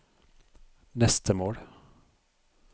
neste mål